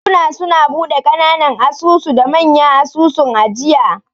Bankuna suna bude kananan asusu da manya asusun ajiya.